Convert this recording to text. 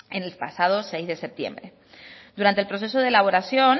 el pasado seis de septiembre durante el proceso de elaboración